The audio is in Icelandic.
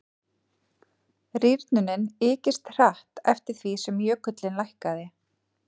rýrnunin ykist hratt eftir því sem jökullinn lækkaði